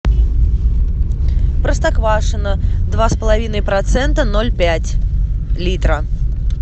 простоквашино два с половиной процента ноль пять литра